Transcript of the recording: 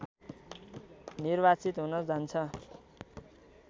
निर्वाचित हुन जान्छ